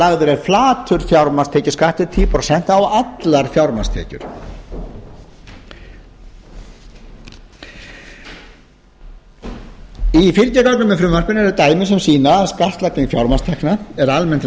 lagður er flatur fjármagnstekjuskattur tíu prósent á allar fjármagnstekjur í fylgigögnum með frumvarpinu eru dæmi sem sýna að skattlagning fjármagnstekna er almennt lægri hér